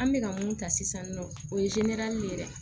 An bɛ ka mun ta sisan nɔ o ye ye dɛ